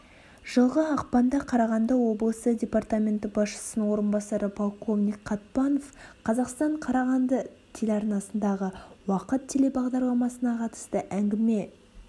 жылғы ақпанда қарағанды облысы департаменті басшысының орынбасары полковник қатпанов қазақстан қарағанды телеарнасындағы уақыт телебағдарламасына қатысты әңгіме